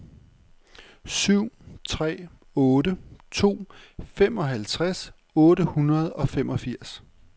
syv tre otte to femoghalvtreds otte hundrede og femogfirs